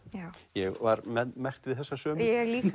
ég var með merkt við þessa sömu ég líka